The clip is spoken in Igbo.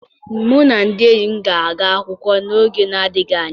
Mụ na ndị enyi m ga-aga akwụkwọ n'oge na-adịghị anya.